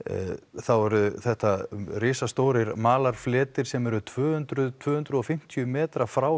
þá eru þetta risastórir malarfletir sem eru tvö hundruð tvö hundruð og fimmtíu metrar frá